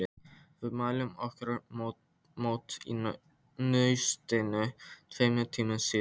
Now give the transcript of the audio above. Við mæltum okkur mót í Naustinu tveimur tímum síðar.